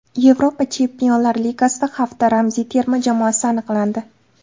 Yevropa Chempionlar Ligasida hafta ramziy terma jamoasi aniqlandi.